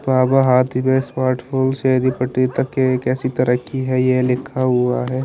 राजा ऐसी तरकी है ये लिखा हुआ है।